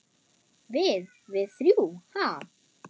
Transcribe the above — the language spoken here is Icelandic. Við- við þrjú, ha?